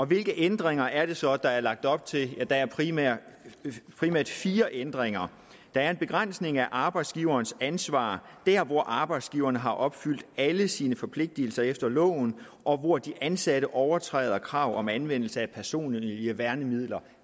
hvilke ændringer er det så der er lagt op til der er primært primært fire ændringer der er en begrænsning af arbejdsgiverens ansvar der hvor arbejdsgiveren har opfyldt alle sine forpligtelser efter loven og hvor de ansatte overtræder krav om anvendelse af personlige værnemidler